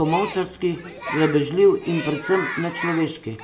komolčarski, grabežljiv in predvsem nečloveški?